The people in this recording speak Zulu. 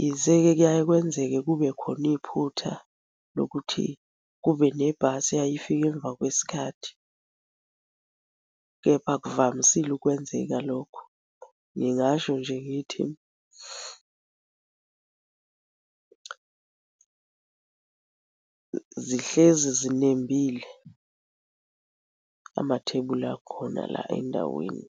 Yize-ke kuyaye kwenzeke kube khona iphutha lokuthi kube nebhasi eyaye ifike emva kwesikhathi, kepha akuvamisile ukwenzeka lokho. Ngingasho nje ngithi zihlezi zinembile amathebuli akhona la endaweni.